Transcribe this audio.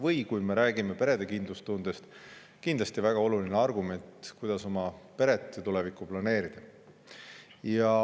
Ja kui me räägime perede kindlustundest, siis pere ja tuleviku planeerimisel on see kindlasti väga oluline argument.